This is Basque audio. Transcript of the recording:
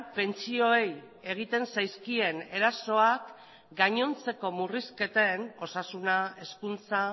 pentsioei egiten zaizkien erasoak gainontzeko murrizketen osasuna hezkuntza